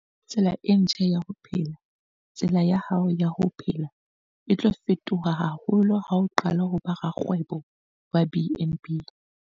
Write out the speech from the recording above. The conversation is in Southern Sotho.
Tsela e ntjha ya ho phela - Tsela ya hao ya ho phela e tlo fetoha haholo ha o qala ho ba rakgwebo wa BnB.